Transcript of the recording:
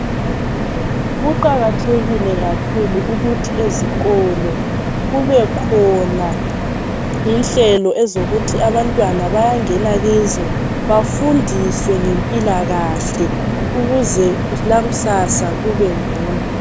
Kuqakathekile kakhulu ukuthi ezikolo kube khona inhlelo ezokuthi abantwana bayangena kizo bafundiswe ngempilakahle ukuze elakusasa kube ngcono.